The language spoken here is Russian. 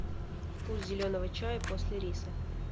вкус зеленого чая после риса